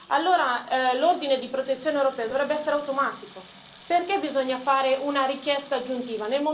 Allora l'ordine di protezione europeo dovrebbe essere automatico perché bisogna fare una richiesta aggiuntiva?